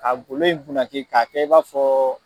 Ka golo in bunaki k'a kɛ i b'a fɔ.